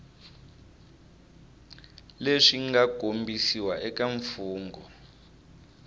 leswi nga kombisiwa eka mfugnho